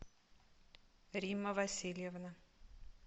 римма васильевна